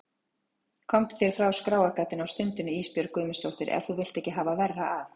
Komdu þér frá skráargatinu á stundinni Ísbjörg Guðmundsdóttir ef þú vilt ekki hafa verra af.